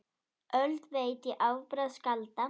Öld veit ég afbragð skálda!